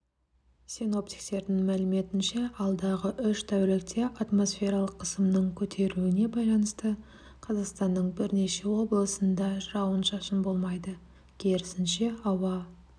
синоптиктердің мәліметінше алдағы үш тәулікте атмосфералық қысымның көтерілуіне байланысты қазақстанның бірнеше облысында жауын-шашын болмайды керісінше ауа